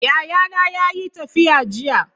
Yayana yayi tafiya jiya.